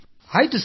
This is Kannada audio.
ಆಯ್ತು ಸರ್